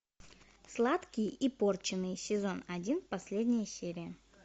сладкий и порченый сезон один последняя серия